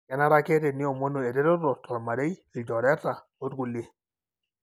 kenare ake teniomonu eretoto tolmarei, ilchoreta. Olkulie.